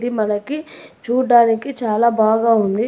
మనకి చూడ్డానికి చాలా బాగా ఉంది.